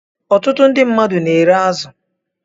Ọtụtụ ndị mmadụ na-ere azụ